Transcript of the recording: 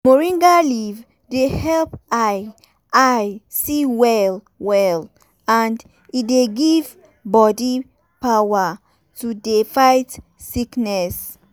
moringa leaf dey help eye eye see well well and e dey give bodi power to dey fight sickness.